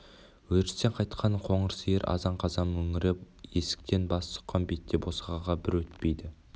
өрістен қайтқан қоңыр сиыр азан-қазан мөңіреп есіктен бас сұққан бетте босағаға бір өтпейді